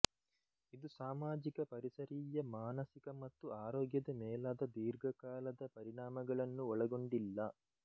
ಇದು ಸಾಮಾಜಿಕ ಪರಿಸರೀಯ ಮಾನಸಿಕ ಮತ್ತು ಆರೋಗ್ಯದ ಮೇಲಾದ ದೀರ್ಘಕಾಲದ ಪರಿಣಾಮಗಳನ್ನು ಒಳಗೊಂಡಿಲ್ಲ